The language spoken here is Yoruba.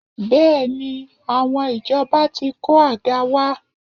Bẹ́ẹ̀ni, àwọn ìjọba ti kó àga wá